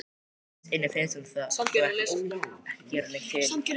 Innst inni finnst honum það þó ekki gera neitt til.